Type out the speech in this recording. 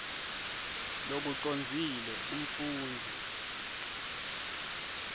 lokucondzile umfundzi